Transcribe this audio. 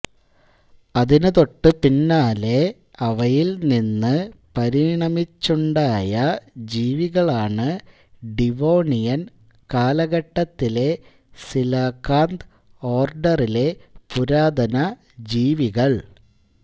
അതിനു തൊട്ട് പിന്നാലെ അവയിൽ നിന്ന് പരിണമിച്ചുണ്ടായ ജീവികളാണ് ഡിവോണിയൻ കാലഘട്ടത്തിലെ സീലാകാന്ത് ഓർഡറിലെ പുരാതന ജീവികൾ